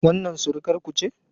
Wannan surukarku ce?